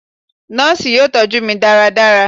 Nọọsi yoo tọju mi ​​daradara